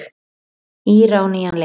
Íra á nýjan leik.